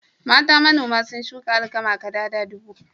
Mata manoma sun shuka alkama kadada dubu.